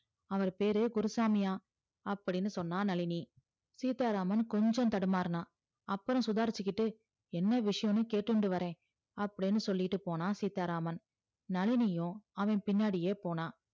அவரு பேரு குருசாமியா அப்டின்னு சொன்னா நழினி சீத்தாராமன் கொஞ்ச தடுமருனா அப்புறோ சுதாரிச்சிகிட்டு என்ன விஷயன்னு கேட்டுண்டு வர அப்டின்னு சொல்லிட்டு போனா சீத்தாராமன் நழினியும் அவன் பின்னாடியே போனா